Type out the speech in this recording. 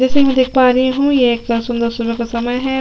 जैसे की मैं देख पा रही हूँ ये एक सुन्दर सुबह का समय है।